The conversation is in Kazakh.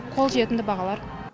қол жетімді бағалар